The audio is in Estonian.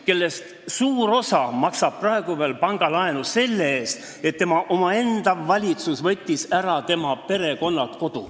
Neist suur osa maksab ikka veel pangalaenu sel põhjusel, et meie omaenda valitsus võttis neilt kodu ära.